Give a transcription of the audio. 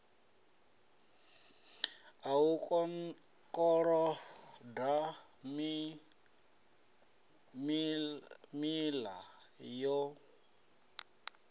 a u koloda miṋa yo